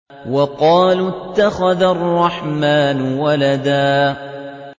وَقَالُوا اتَّخَذَ الرَّحْمَٰنُ وَلَدًا